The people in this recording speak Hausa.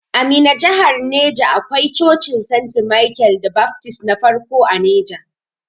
A Minna jahar neja akwai Cocin Senti Michael da Baftist na farko a neja.